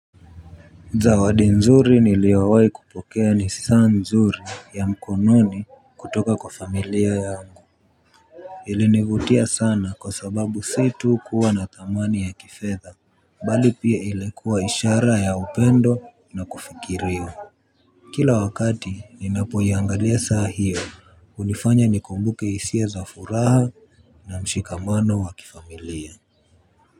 Zawadi nzuri niliowai kupokea ni saa nzuri ya mkononi kutoka kwa familia yangu ilinivutia sana kwa sababu si tu kuwa na thamani ya kifetha bali pia ilikuwa ishara ya upendo na kufikiriwa. Kila wakati ninapo iangalia saa hiyo hunifanya nikumbuke hisia za furaha na mshikamano wa kifamilia.